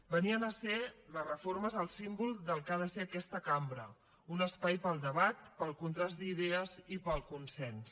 venien a ser les reformes el símbol del que ha de ser aquesta cambra un espai per al debat per al contrast d’idees i per al consens